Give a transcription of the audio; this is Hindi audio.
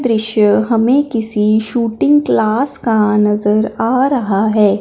दृश्य हमें किसी शूटिंग क्लास का नज़र आ रहा है।